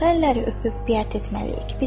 Hansı əlləri öpüb biət etməliyik?